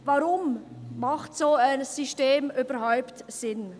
Weshalb macht ein solches System überhaupt Sinn?